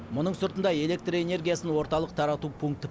мұның сыртында электр энергиясын орталық тарату пункті